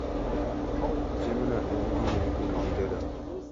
Timno en gima itimo gi jodongo, .